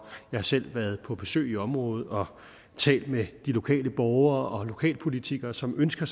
jeg har selv været på besøg i området og talt med de lokale borgere og lokalpolitikere som ønsker